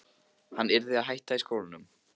Hann yrði að hætta í skólanum!